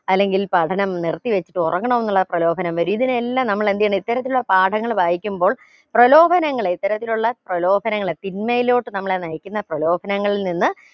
അല്ളെങ്കിൽ പഠനം നിർത്തി വെച്ച് പോക അങ്ങനെന്നുള്ള പ്രലോഭനം വരും ഇതിനെയെല്ലാം നമ്മൾ എന്തെയാണ് ഇത്തരത്തിലുള്ള പാഠങ്ങൾ വായിക്കുമ്പോൾ പ്രലോഭനങ്ങളെ ഇത്തരത്തിലുള്ള പ്രലോഭനങ്ങളെ തിന്മയിലോട്ട് നമ്മളെ നയിക്കുന്ന പ്രലോഭനങ്ങളിൽ നിന്ന്